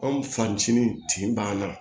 Anw fanicini banna